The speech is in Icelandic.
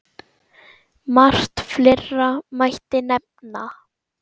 Margt fleira mætti nefna.